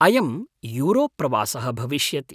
अयं यूरोप् प्रवासः भविष्यति।।